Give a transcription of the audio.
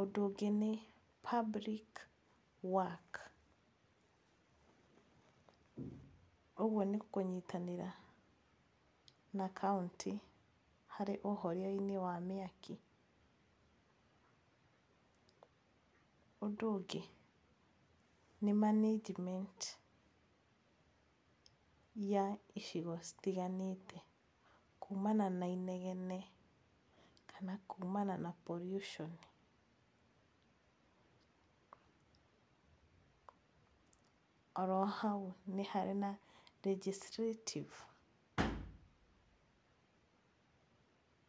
Ũndũ ũngĩ nĩ public work ũguo nĩ kũnyitanĩra na kaũntĩ harĩ ũhoria-inĩ wa mĩaki. Ũndũ ũngĩ nĩ management ya icigo citiganĩte kuumana na inegene kana kuumana na pollution. Oro hau nĩ harĩ na legislative...